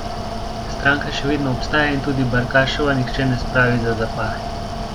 Stranka še vedno obstaja in tudi Barkašova nihče ne spravi za zapahe.